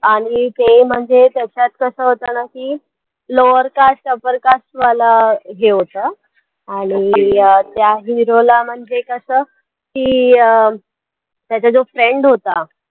आणि ते म्हणजे त्याच्यात कसं होतं ना की lower cast upper cast वालं हे होतं आणि त्या hero ला म्हणजे कसं की अं त्याचा जो friend होता.